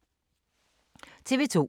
TV 2